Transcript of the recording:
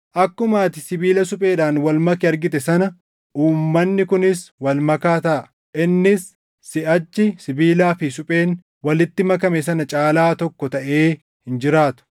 Akkuma ati sibiila supheedhaan wal make argite sana uummanni kunis walmakaa taʼa; innis siʼachi sibiilaa fi supheen walitti makame sana caalaa tokko taʼee hin jiraatu.